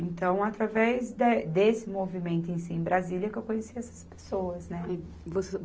Então, através de, desse movimento em si, em Brasília, que eu conheci essas pessoas, né. Você